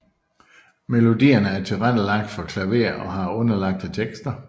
Melodierne er tilrettelagt for klaver og har underlagte tekster